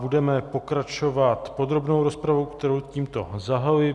Budeme pokračovat podrobnou rozpravou, kterou tímto zahajuji.